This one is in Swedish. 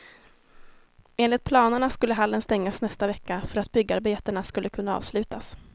Enligt planerna skulle hallen stängas nästa vecka för att byggarbetena skulle kunna avslutas.